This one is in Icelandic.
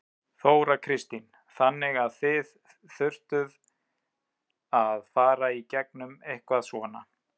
Þóra Kristín: Þannig að þið þurftuð að fara í gegnum eitthvað svona?